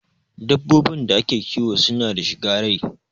Dabbobin da ake kiwo suna da shiga rai